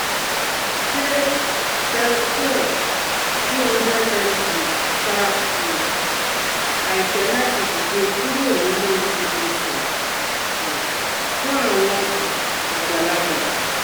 Ṣé Seroquel two hundred mg fa um àìfẹ́ láti dìde kúrò nínú ibùsùn um fun àwọn um àgbàlagbà?